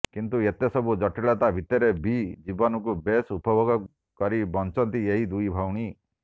କିନ୍ତୁ ଏତେ ସବୁ ଜଟିଳତା ଭିତରେ ବି ଜୀବନକୁ ବେଶ ଉପଭୋଗ କରି ବଞ୍ଚନ୍ତି ଏହି ଦୁଇ ଭଉଣୀ